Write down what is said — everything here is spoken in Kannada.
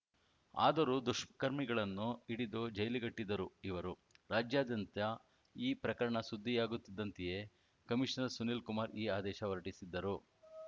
ಆದರೂ ದುಷ್ಕರ್ಮಿಗಳನ್ನು ಹಿಡಿದು ಜೈಲಿಗಟ್ಟಿದ್ದರು ಇವರು ರಾಜ್ಯದ್ಯಂತ ಈ ಪ್ರಕರಣ ಸುದ್ದಿಯಾಗುತ್ತಿದ್ದಂತೆಯೇ ಕಮೀಷನರ್‌ ಸುನೀಲ್‌ ಕುಮಾರ್‌ ಈ ಆದೇಶ ಹೊರಟಿಸಿದ್ದರು